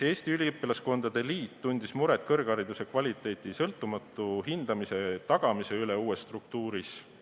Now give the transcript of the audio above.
Eesti Üliõpilaskondade Liit tundis muret kõrghariduse kvaliteedi sõltumatu hindamise tagamise üle uue struktuuri puhul.